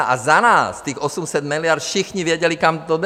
A za nás, těch 800 miliard, všichni věděli, kam to jde.